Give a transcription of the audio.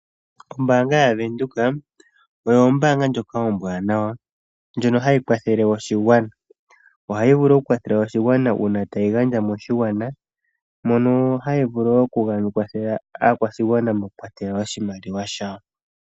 Ombaanga yaVenduka oyo ombaanga ndjoka ombwaanawa ndjono hayi kwathele oshigwana. Ohayi vulu okukwathela oshigwana uuna tayi gandja moshigwana mono hayi vulu okukwathele aakwashigwana moku kwatela oshimaliwa shayo